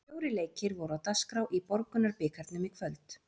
Fjórir leikir voru á dagskrá í Borgunarbikarnum í kvöld.